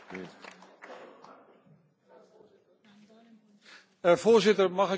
Voorzitter, mag ik nu even vragen wat we precies gaan doen met elkaar?